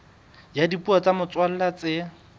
ya dipuo tsa motswalla tse